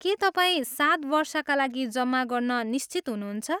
के तपाईँ सात वर्षका लागि जम्मा गर्न निश्चित हुनुहुन्छ?